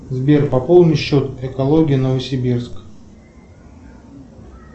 сбер пополни счет экология новосибирск